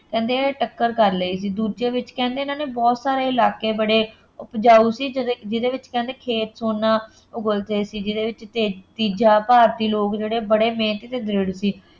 ਕਹਿੰਦੇ ਟੱਕਰ ਕਰ ਲਈ ਸੀ, ਦੂਜਿਆਂ ਵਿੱਚ ਕਹਿੰਦੇ ਇਹਨਾ ਨੇ ਬਹੁਤ ਸਾਰੇ ਇਲਾਕੇ ਬੜੇ ਉਪਜਾਊ ਸੀ ਜਿਹੜੇ ਜਿਹਦੇ ਵਿੱਚ ਖੇਤ ਸੋਨਾ ਉਗਲਦੇ ਸੀ, ਜਿਹਦੇ ਵਿੱਚ ਤੇ ਤੀਜਾ ਭਾਰਤੀ ਲੋਕ ਬੜੇ ਮਿਹਨਤੀ ਅਤੇ ਦ੍ਰਿੜ੍ਹ ਸੀ।